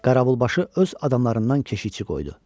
Qaravulbaşı öz adamlarından keşikçi qoydu.